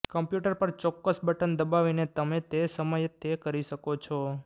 computer પર ચોક્કસ button દબાવીને તમે તે સમયે તે કરી શકો છો